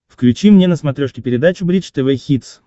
включи мне на смотрешке передачу бридж тв хитс